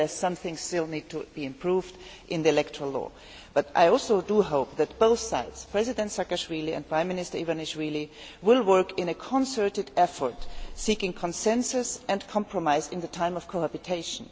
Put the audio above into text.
Some things do still need to be improved in the electoral law, but I also hope that both sides, President Saakashvili and Prime Minister Ivanishvili, will work in a concerted effort seeking consensus and compromise in the time of cohabitation.